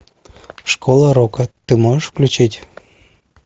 школа рока ты можешь включить